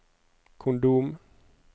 kondom